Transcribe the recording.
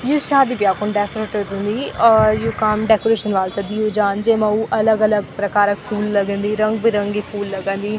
यु शादी ब्या खुन डेकोरेट हुन्दी और यु काम डेकोरेशन वाल थे दियुं जान्द जैम वू अलग-अलग प्रकारक् फूल लगन्दी रंग-बिरंगी फूल लगन्दी।